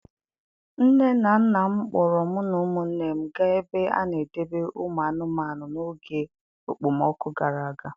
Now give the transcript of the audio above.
Nne na nna m kpọọrọ mụ na ụmụnne m gaa ebe a na-edebe ụmụ anụmanụ n'oge okpomọkụ gara aga.